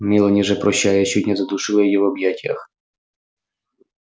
мелани же прощаясь чуть не задушила её в объятиях